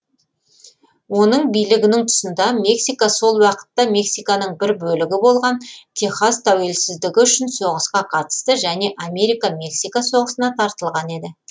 оның билігінің тұсында мексика сол уақытта мексиканың бір бөлігі болған техас тәуелсіздігі үшін соғысқа қатысты және америка мексика соғысына тартылған еді